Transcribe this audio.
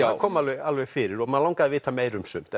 kom alveg alveg fyrir og mann langaði að vita meira um sumt